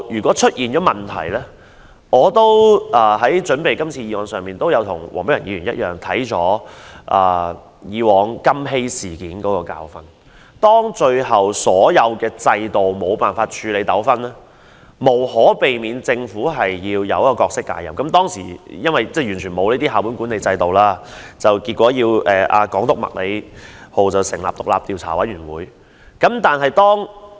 我為今次的議案作準備時，與黃碧雲議員一樣看過以往"金禧事件"的教訓，當最後所有制度都無法處理糾紛，政府無可避免要介入時，由於當時沒有校本管理制度，港督麥理浩要成立調查委員會調查。